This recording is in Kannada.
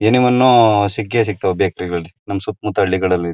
ಎನಿ ಒನ್ ಸಿಕ್ಕೇ ಸಿಕ್ತಾವೆ ಬೇಕರಿಲಿ ನಮ್ಮ ಸುತ್ತ ಮುತ್ತ ಹಳ್ಳಿಗಳಲ್ಲಿ--